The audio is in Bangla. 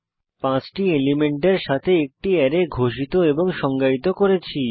5 টি এলিমেন্টের সাথে একটি অ্যারে ঘোষিত এবং সংজ্ঞায়িত করেছি